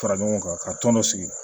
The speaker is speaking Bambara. Fara ɲɔgɔn kan ka tɔn dɔ sigi